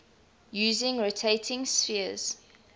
using rotating spheres